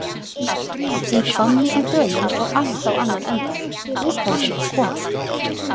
Í Hvammi í Dölum fór allt á annan endann, húsbóndinn var kominn!